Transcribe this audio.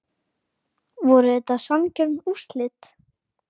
Voru þetta sanngjörn úrslit?